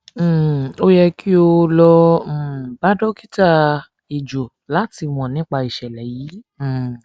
um o yẹ ki o lọ um bá dókítà ẹjó láti mọ nípa ìṣẹlẹ yìí um